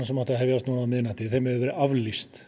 sem átti að hefjast á miðnætti hefur verið aflýst